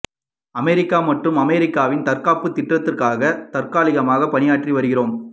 America மற்றும் அமெரிக்காவின் தற்காப்புத் திட்டத்திற்காக தற்காலிகமாக தற்காலிகமாக பணியாற்றி வருகிறோம்